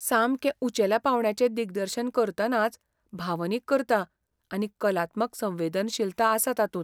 सामकें उंचेल्या पावंड्याचें दिग्दर्शन करतनाच भावनीक करता आनी कलात्मक संवेदनशीलता आसा तातूंत.